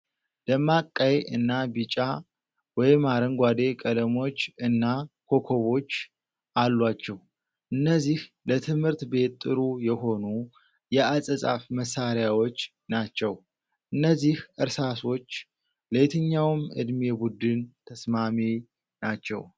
ደማቅ ቀይ እና ቢጫ/አረንጓዴ ቀለሞች እና ኮከቦች አሏቸው። እነዚህ ለትምህርት ቤት ጥሩ የሆኑ የአጻጻፍ መሳሪያዎች ናቸው። እነዚህ እርሳሶች ለየትኛው ዕድሜ ቡድን ተስማሚ ናቸው?